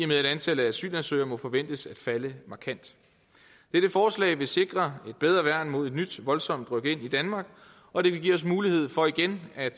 med at antallet af asylansøgere må forventes at falde markant dette forslag vil sikre et bedre værn mod et nyt voldsomt rykind i danmark og det vil give os mulighed for igen at